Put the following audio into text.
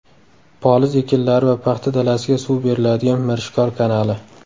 Poliz ekinlari va paxta dalasiga suv beriladigan Mirishkor kanali.